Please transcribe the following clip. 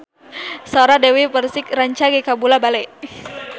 Sora Dewi Persik rancage kabula-bale